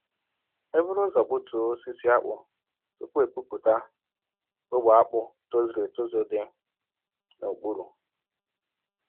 E buru ụzọ gbutuo osisi akpụ tupu epupụta ogbe akpụ tozuru etozu dị n'okpuru.